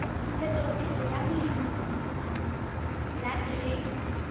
ntshetsopele ya molemi la grain